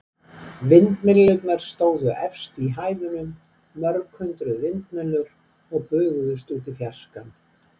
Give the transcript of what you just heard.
Vindmyllurnar stóðu efst í hæðunum, mörg hundruð vindmyllur og bugðuðust út í fjarskann.